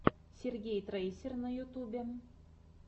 сергей трейсер на ютюбе